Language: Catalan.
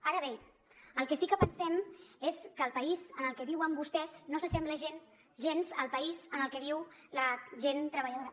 ara bé el que sí que pensem és que el país en el que viuen vostès no s’assembla gens al país en el que viu la gent treballadora